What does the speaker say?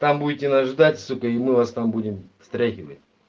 там будете нас ждать сука и мы вас там будем стряхивать